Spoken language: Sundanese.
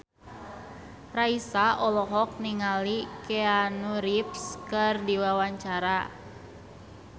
Raisa olohok ningali Keanu Reeves keur diwawancara